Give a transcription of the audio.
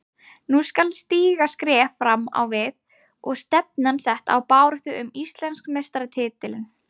Nú skal stíga skref fram á við og stefnan sett á baráttu um Íslandsmeistaratitilinn.